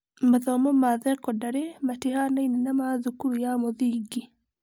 Mathomo ma thekondarĩ matihanaine na ma thukuru ya mũthingi